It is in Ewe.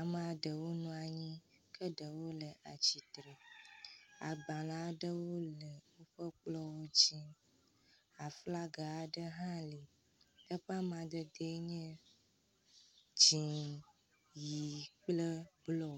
amea ɖewo nɔ anyi ke ɖewo le atsitre. Agbale aɖewo le woƒe kplɔwo dzi. aflaga aɖe hã li eƒe amadedee nye dzi, ʋi kple blɔ.